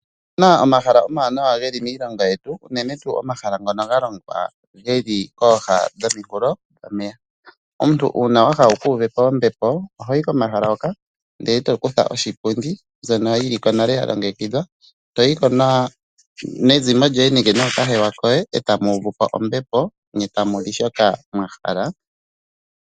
Otu na omahala omawanawa ge li miilongo yetu unene tuu omahala ngono ga longwa ge li kooha dhomikulo dhomeya. Omuntu uuna wa hala wu kuuvepo ombepo oho yi komahala hoka nde eto kutha oshipundi mbyono yiliko nale ya longekidhwa to yiko nezimo lyoye nenge nookahewa koye e tamu uvupo ombepo nye tamu li shoka mwa hala.